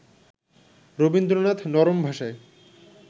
রবীন্দ্রনাথ নরম ভাষায়